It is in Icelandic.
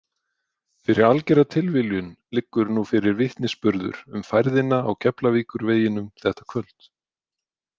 Fyrir algera tilviljun liggur nú fyrir vitnisburður um færðina á Keflavíkurveginum þetta kvöld.